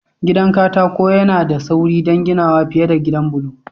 Gidan katako yana da sauri don ginawa fiye da gidan bulo.